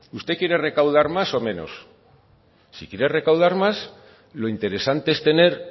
usted quiere recaudar más o menos si quiere recaudar más lo interesante es tener